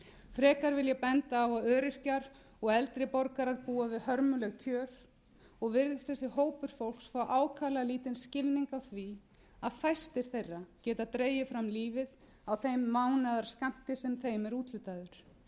frekar vil ég benda á að öryrkjar og eldri borgarar búa við hörmuleg kjör og virðist þessi hópur fólks fá ákaflega lítinn skilning á því að fæstir þeirra geta dregið fram lífið á þeim mánaðarskammti sem þeim er úthlutaður það er